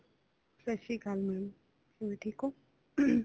ਸਤਿ ਸ੍ਰੀ ਅਕਾਲ ma'am ਹੋਰ ਟੈੱਕ ਹੋ